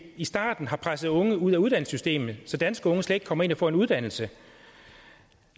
i starten har presset unge ud af uddannelsessystemet så danske unge slet ikke kommer ind og får en uddannelse